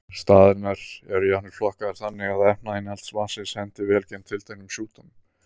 Staðirnir eru jafnvel flokkaðir þannig að efnainnihald vatnsins henti vel gegn tilteknum sjúkdómum.